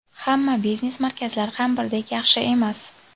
Hamma biznes markazlar ham birdek yaxshi emas.